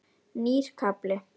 Nýr kafli.